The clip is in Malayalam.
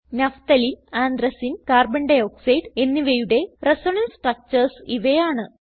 നഫ്തലീൻ ആന്ത്രസീൻ carbon ഡയോക്സൈഡ് എന്നിവയുടെ റിസണൻസ് സ്ട്രക്ചർസ് ഇവയാണ്